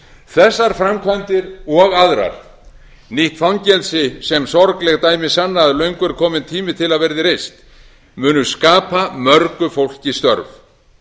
þessar framkvæmdir og aðrar nýtt fangelsi sem sorgleg dæmi sanna að löngu er kominn tími bil að verði reist munu skapa mörgu fólki störf